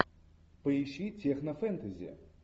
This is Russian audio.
поищи технофэнтези